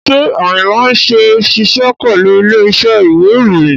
Ṣé Ayinla ṣì ń ṣiṣẹ́ pẹ̀lú ilé iṣẹ́ ìwé ìròyìn?